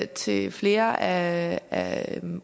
til flere af af